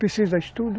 Precisa estudo.